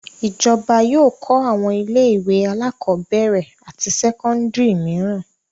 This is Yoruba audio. Ìjọba yóò kọ́ àwọn ilé-ìwé alákọ̀ọ́bẹ̀rẹ̀ àti sẹ́kọ́ndárì mìíràn.